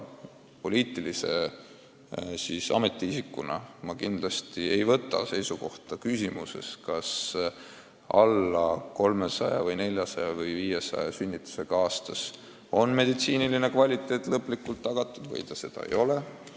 Poliitilise ametiisikuna ma kindlasti ei võta seisukohta küsimuses, kas vähem kui 300 või 400 või 500 sünnitusega aastas on arstiabi kõrge kvaliteet tagatud või ei ole.